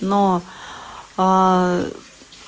но